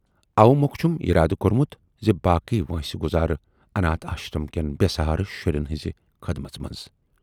اوٕ مۅکھٕ چھُم یِرادٕ کورمُت زِ باقٕے وٲنسہِ گُذارٕ اَناتھ آشرم کٮ۪ن بے سہارٕ شُرٮ۪ن ہٕنزِ خٔدمٔژ منز۔